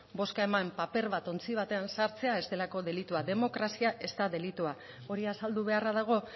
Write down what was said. bozka eman paper bat ontzi batean sartzea ez delako delitua demokrazia ez da delitua hori azaldu beharra dago